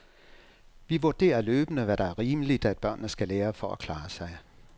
Vi vurderer løbende, hvad der er rimeligt, at børnene skal lære for at klare sig.